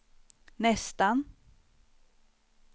nästan